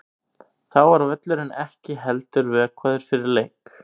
Þá var völlurinn ekki heldur vökvaður fyrir leik.